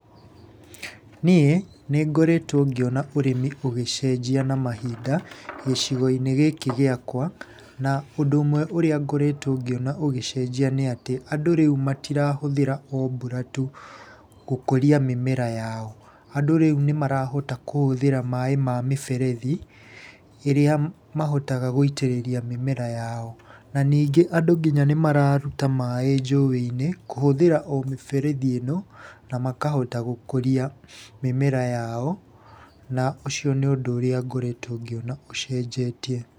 Niĩ nĩ ngoretwo ngĩona ũrĩmi ũgĩcenjia na mahinda gĩcigo-inĩ gĩkĩ gĩakwa, na ũndũ ũmwe ũrĩa ngoretwo ngĩona ũgĩcenjia nĩ atĩ andũ rĩu matirahũthĩra o mbura tu gũkũria mĩmera yao. Andũ rĩu nĩ marahota kũhũthĩra maaĩ ma mĩberethi, ĩrĩa mahotaga gũitĩrĩria mĩmera yao. Na ningĩ andũ nginya nĩmararuta maaĩ njũĩ-inĩ, kũhũthĩra o mĩberethi ĩno na makahota gũkũria mĩmera yao, na ũcio nĩ ũndũ ũrĩa ngoretwo ngĩona ũcenjetie.